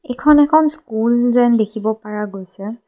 এইখন এখন স্কুল যেন দেখিব পাৰা গৈছে।